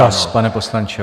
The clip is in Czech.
Čas, pane poslanče.